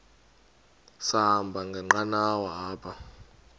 sahamba ngenqanawa apha